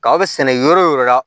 Kaba sɛnɛ yɔrɔ o yɔrɔ la